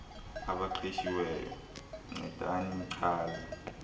abaqeshiweyo ncedani nichaze